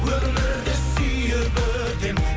өмірді сүйіп өтем